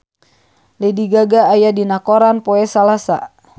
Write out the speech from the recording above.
Lady Gaga aya dina koran poe Salasa